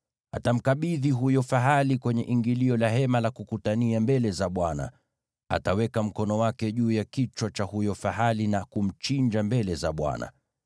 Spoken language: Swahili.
Atamkabidhi huyo fahali kwenye ingilio la Hema la Kukutania mbele za Bwana . Ataweka mkono wake juu ya kichwa cha huyo fahali na kumchinja mbele za Bwana .